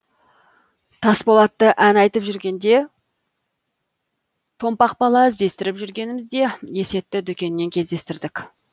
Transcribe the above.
тасболатты ән айтып жүргенде томпақ бала іздестіріп жүргенімізде есетті дүкеннен кездестірдік